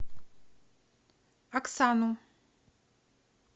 оксану